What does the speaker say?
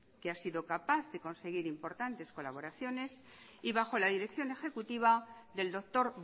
que ha sido capaz de conseguir importantes colaboraciones y bajo la dirección ejecutiva del doctor